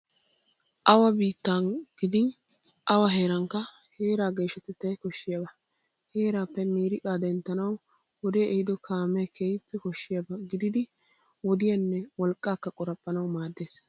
Awa biittan gidin awa heerankka heeraa geeshshatettay koshshiyaba. Heeraappe miiriqaa denttanawu wodee ehiido kaamee keehippe koshshiyaba gididi wodiyanne wolqqaakka qoraphphanawu maaddees.